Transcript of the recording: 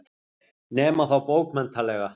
Nema þá bókmenntalega.